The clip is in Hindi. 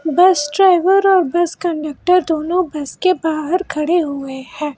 बस ड्राइवर और बस कंडक्टर दोनों बस के बाहर खड़े हुए हैं।